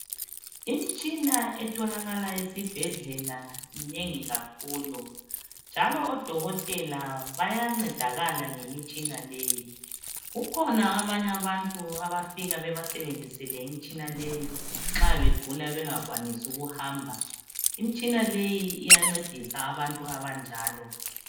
imitshina etholakala esibhedlela minengi kakhulu njalo odokotela bayancedakala ngemitshina leyi kukhona abanye abantu abafika bebasebenzisele imitshina leyi nxa begula bengakwanisi ukuhamba imitshina iyancedisa abantu abanjalo